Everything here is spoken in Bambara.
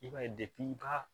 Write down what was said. I b'a ye i b'a